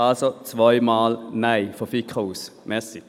Also, zweimal ein Nein aus der FiKo.